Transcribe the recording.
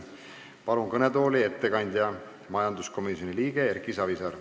Palun kõnetooli ettekandja, majanduskomisjoni liikme Erki Savisaare.